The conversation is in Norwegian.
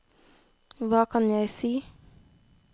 hva kan jeg si